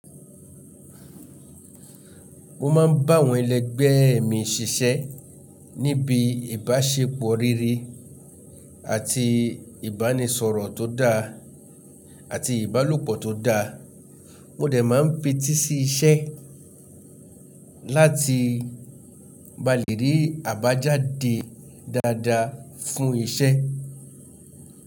Wọ́n ma ń báwọn ẹlẹgbẹ́ ẹ̀ mí ṣiṣẹ́ níbi ìbáṣepọ̀ rere àti ìbánisọ̀rọ̀ tó dá àti ìbálòpọ̀ tó da. Mo dẹ̀ máa ń fẹ́tì sí iṣẹ́ láti ba lè rí àbájáde dáadáa fún iṣẹ́.